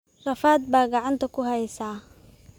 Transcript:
Rafaad baa gacanta ku haysa